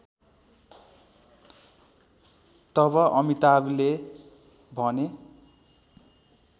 तब अमिताभले भने